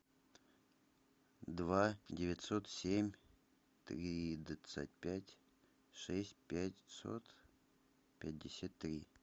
два девятьсот семь тридцать пять шесть пятьсот пятьдесят три